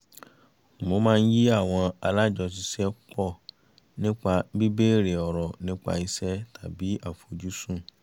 mo máa ń yí àwọn alájọṣiṣẹ́pọ̀ nípa bí béèrè ọ̀rọ̀ nípa iṣẹ́ tàbí àfojúsùn